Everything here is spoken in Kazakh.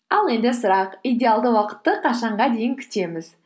ал енді сұрақ идеалды уақытты қашанға дейін күтеміз